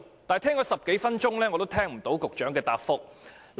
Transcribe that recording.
可是，我聽了10多分鐘仍未聽到局長有何回覆。